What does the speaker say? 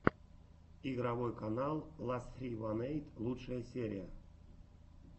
игровой канал ла ссри ван эйт лучшая серия